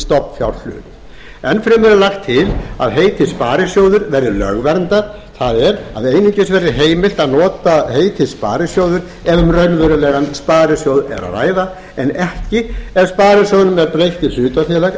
stofnfjárhlut enn fremur er lagt til að heitið sparisjóður verði lögverndað það er að einungis verði heimilt að nota heitið sparisjóður ef um raunverulegan sparisjóð er að ræða en ekki ef sparisjóðnum er breytt í hlutafélag